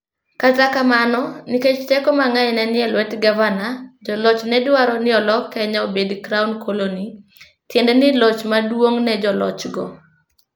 Kata kamano, nikech teko mang'eny ne ni e lwet Gavana, joloch ne dwaro ni olok Kenya obed Crown Colony, tiende ni loch maduong' ne jolochgo.